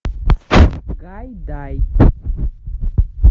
гайдай